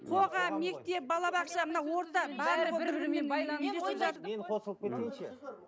мен қосылып кетейінші